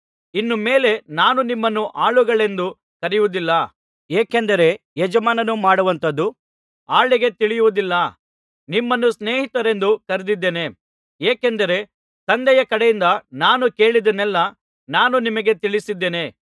ಇನ್ನು ಮೇಲೆ ನಾನು ನಿಮ್ಮನ್ನು ಆಳುಗಳೆಂದು ಕರೆಯುವುದಿಲ್ಲ ಏಕೆಂದರೆ ಯಜಮಾನನು ಮಾಡುವಂಥದ್ದು ಆಳಿಗೆ ತಿಳಿಯುವುದಿಲ್ಲ ನಿಮ್ಮನ್ನು ಸ್ನೇಹಿತರೆಂದು ಕರೆದಿದ್ದೇನೆ ಏಕೆಂದರೆ ತಂದೆಯ ಕಡೆಯಿಂದ ನಾನು ಕೇಳಿದ್ದನ್ನೆಲ್ಲಾ ನಾನು ನಿಮಗೆ ತಿಳಿಸಿದ್ದೇನೆ